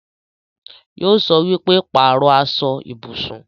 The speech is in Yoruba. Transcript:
Yóò sọ wípé 'Pàrọ̀ aṣọ ibùsùn'